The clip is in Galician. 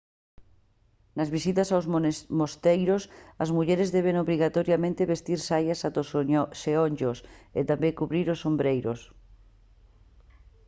nas visitas aos mosteiros as mulleres deben obrigatoriamente vestir saias ata os xeonllos e tamén cubrir os ombreiros